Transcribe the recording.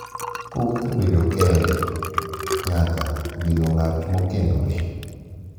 Kowuok e bedo kende nyaka e bedo ng’at ma okendore.